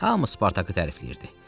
Hamı Spartakı tərifləyirdi.